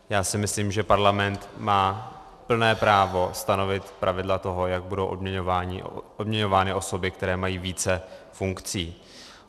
Já si myslím, že parlament má plné právo stanovit pravidla toho, jak budou odměňovány osoby, které mají více funkcí.